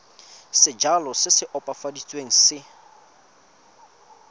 sejalo se se opafaditsweng se